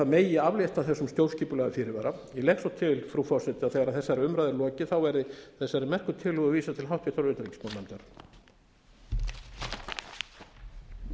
megi aflétta þessum stjórnskipulega fyrirvara ég legg svo til frú forseti þegar þessari umræðu er lokið verði þessari merku tillögu vísað til háttvirtrar utanríkismálanefndar